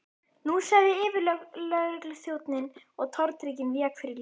Nú sagði yfirlögregluþjónninn og tortryggnin vék fyrir létti.